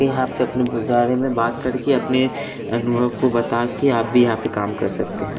यहाँ पे अपने ब गारे में बात करके अपने अनुभव को बता के आप भी यहाँ पे काम कर सकते हैं।